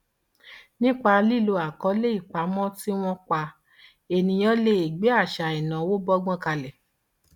nípa lílo àkọọlẹ ìpamọ tí wọn pa ènìyàn lè gbé àṣà ìnáwó bọgbọn kalẹ